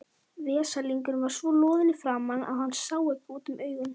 tryggvi þorgeirsson og þorsteinn vilhjálmsson hver er kjörþyngd þrettán ára drengs